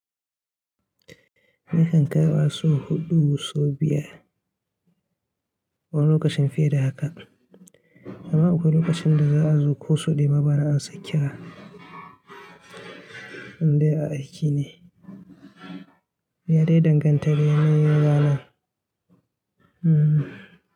Nakan kaiwa sau huɗu sau biyar wani lokacin fiye da haka. Amma akwai lokacin da za a zo ko sau ɗaya ma bana amsa ƙira in dai a aiki ne. Ya dai danganta da yanayin ranan. Hmm.